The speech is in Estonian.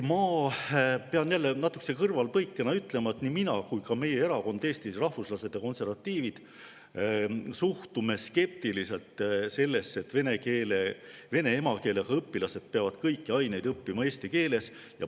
Ma pean jälle kõrvalepõikena ütlema, et nii mina kui ka minu erakond, Eesti Rahvuslased ja Konservatiivid, suhtume skeptiliselt sellesse, et vene emakeelega õpilased peavad kõiki aineid õppima eesti keeles.